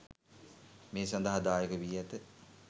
මේ සදහා දායක වී ඇත.